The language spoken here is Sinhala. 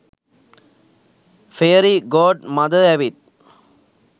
ෆෙයරි ගෝඩ් මදර් ඇවිත්